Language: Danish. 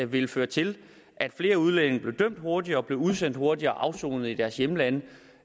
vil føre til at flere udlændinge blev dømt hurtigere blev udsendt hurtigere og afsonede i deres hjemlande